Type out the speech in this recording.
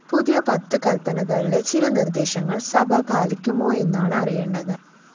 പുതിയ പത്തു കല്പനകളിലെ ചില നിര്‍ദ്ദേശങ്ങള്‍ സഭ പാലിക്കുമോയെന്നാണ് അറിയേണ്ടത്